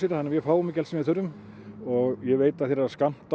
þannig að við fáum ekki allt sem við þurfum ég veit að þeir eru að skammta